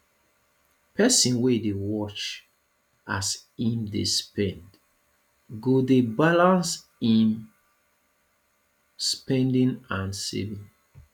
pesin wey dey watch as im dey spend go dey balance im spending and saving